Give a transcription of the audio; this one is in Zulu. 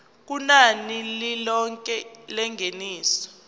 kunani lilonke lengeniso